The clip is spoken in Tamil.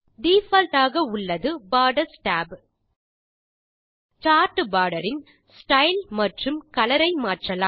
டிஃபால்ட் ஆக உள்ளது போர்டர்ஸ் tab சார்ட் போர்டர் இன் ஸ்டைல் மற்றும் கலர் ஐ மாற்றலாம்